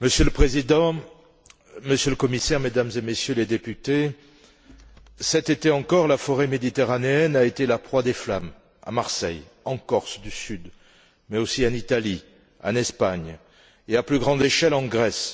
Monsieur le Président, Monsieur le Commissaire, Mesdames et Messieurs les députés, cet été encore, la forêt méditerranéenne a été la proie des flammes à Marseille, en Corse du Sud, mais aussi en Italie, en Espagne et, à plus grande échelle, en Grèce.